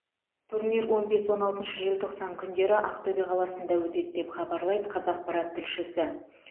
турнир он бес он алтыншы желтоқсан күндері ақтөбе қаласында өтеді деп хабарлайды қазақпарат тілшісі